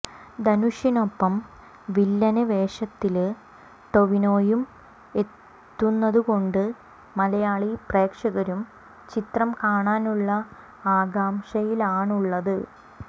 ധനുഷിനൊപ്പം വില്ലന് വേഷത്തില് ടൊവിനോയും എത്തുന്നതുകൊണ്ട് മലയാളി പ്രേക്ഷകരും ചിത്രം കാണാനുളള ആകാംക്ഷയിലാണുളളത്